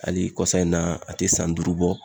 Ali kɔsa in na a te san duuru bɔ